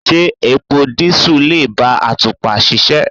Ṣé epo dísù lè bá àtùpà ṣiṣẹ́.